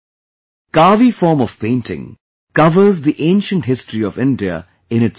'Kaavi' form of painting covers the ancient history of India in itself